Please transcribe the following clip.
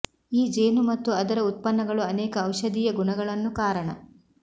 ಈ ಜೇನು ಮತ್ತು ಅದರ ಉತ್ಪನ್ನಗಳು ಅನೇಕ ಔಷಧೀಯ ಗುಣಗಳನ್ನು ಕಾರಣ